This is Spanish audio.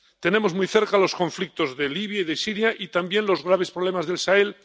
Tenemos muy cerca los conflictos de Libia y de Siria y también los graves problemas del Sahel.